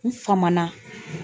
N famana